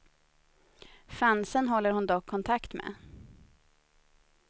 Fansen håller hon dock kontakt med.